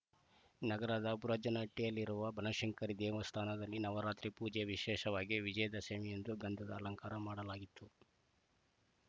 ನಗರದ ಬುರುಜನಹಟ್ಟಿಯಲ್ಲಿರುವ ಬನಶಂಕರಿ ದೇವಸ್ಥಾನದಲ್ಲಿ ನವರಾತ್ರಿ ಪೂಜೆಯ ವಿಶೇಷವಾಗಿ ವಿಜಯದಶಮಿಯಂದು ಗಂಧದ ಅಲಂಕಾರ ಮಾಡಲಾಗಿತ್ತು